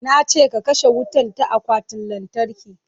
Na ce ka kashe wutan ta akwatin lantarki"